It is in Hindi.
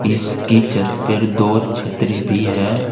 इसकी छत पर दो छतरी भी है।